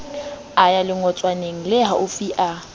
a ya lengotswaneng lehaufi a